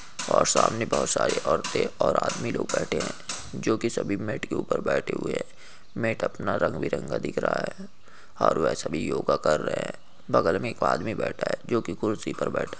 और सामने बहुत सारे औरते और आदमी लोग बैठे है जो की सभी मैट के ऊपर बैठे हुए है मैट अपना रंग बिरंगा दिख रहा है और वे सभी योगा कर रहे है बगल में एक आदमी बैठा है जो की कुर्सी पर बैठा है।